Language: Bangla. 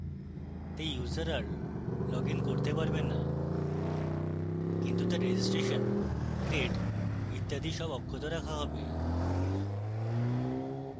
তাই user are লগইন করতে পারবে no কিন্তু তার রেজিস্ট্রেশন grades ইত্যাদি so অক্ষত রাখা হবে